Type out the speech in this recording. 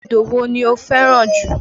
Odò wo ni o fẹ́ràn jù?